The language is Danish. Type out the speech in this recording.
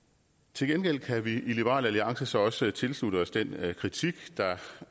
til gengæld kan vi i liberal alliance så også tilslutte os den kritik